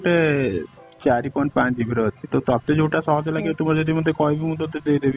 ଗୋଟେ ଚାରି point ପାଞ୍ଚ GB ର ଅଛି ତ ତତେ ଯୋଉଟା ସହଜ ଲାଗିବ ତୁ ଯଦି ମତେ କହିବୁ ମୁଁ ତତେ ଦେଇ ଦେବି